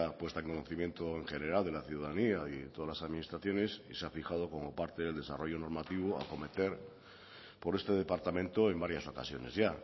puesta en conocimiento en general de la ciudadanía y todas las administraciones y se ha fijado como parte del desarrollo normativo a acometer por este departamento en varias ocasiones ya